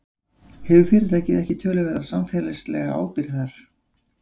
Hefur fyrirtækið ekki töluverða samfélagslega ábyrgð þar?